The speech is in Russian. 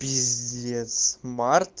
пиздец март